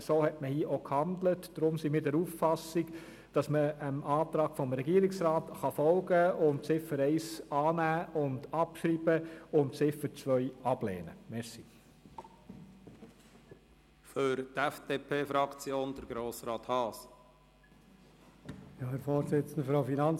So hat man gehandelt, weshalb wir der Auffassung sind, dass man dem Antrag des Regierungsrats folgen und Ziffer 1 annehmen und abschreiben sowie Ziffer 2 ablehnen kann.